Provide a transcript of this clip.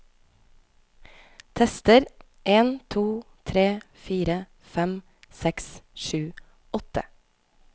Tester en to tre fire fem seks sju åtte